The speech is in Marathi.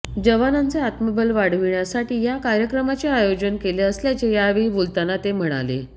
जवानांचे आत्मबल वाढविण्यासाठी या कार्यक्रमाचे आयोजन केले असल्याचे यावेळी बोलताना ते म्हणाले